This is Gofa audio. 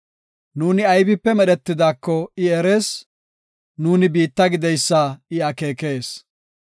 Nuuni aybipe medhetidaako I erees; nuuni biitta gideysa I akeekes.